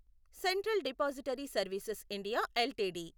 central depository services India LTD